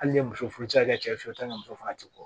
Hali n'i ye muso furu i cɛ fe yen t'a ni muso fana ti bɔ